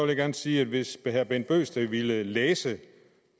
jeg gerne sige at hvis herre bent bøgsted ville læse